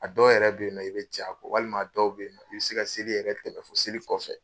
A dɔw yɛrɛ bɛ ye nɔ i bɛ jɛ a kɔ walima dɔw bɛ ye nɔ i bɛ se ka seli yɛrɛ tɛmɛ fo seli kɔfɛ.